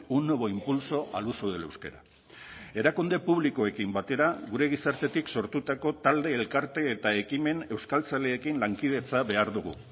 un nuevo impulso al uso del euskera erakunde publikoekin batera gure gizartetik sortutako talde elkarte eta ekimen euskaltzaleekin lankidetza behar dugu